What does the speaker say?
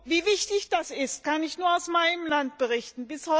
Wie wichtig das ist, kann ich nur aus meinem Land berichten.